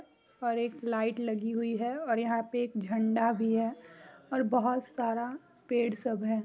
और एक लाइट लगी हुई है और यहां पे एक झंडा भी है और बहुत सारा पैड सब है।